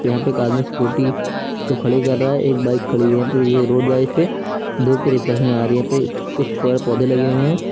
यहां पे एक आदमी स्कूटी को खड़ी कर रहा है एक बाइक खड़ी हुई है यहां पर ए रोड धूप की रिफ्लेक्शन आ रही है यहाँ पे कुछ पेड़ पौधे लगे हुए हैं।